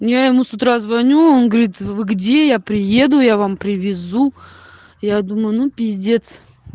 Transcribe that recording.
я ему с утра звоню он говорит вы где я приеду я вам привезу я думаю ну пиздец